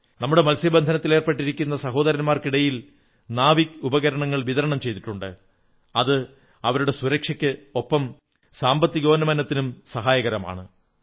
നമ്മുടെ മത്സ്യബന്ധനത്തിലേർപ്പെട്ടിരിക്കുന്ന സഹോദരന്മാർക്കിടയിൽ നാവിക് ഉപകരണങ്ങൾ വിതരണം ചെയ്തിട്ടുണ്ട് അത് അവരുടെ സുരക്ഷയ്ക്കൊപ്പം സാമ്പത്തികോന്നമനത്തിനും സഹായകമാണ്